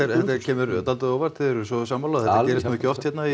kemur dálítið á óvart þið eruð svo sammála þetta gerist nú ekki oft hérna